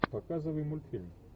показывай мультфильм